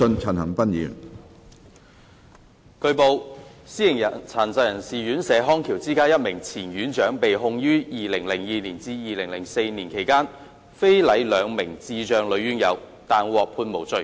主席，據報，私營殘疾人士院舍康橋之家一名前院長被控於2002至2004年期間非禮兩名智障女院友，但獲判無罪。